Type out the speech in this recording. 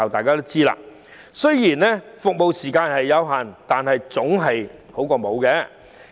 不過，即使服務時間有限，但總較沒有的好。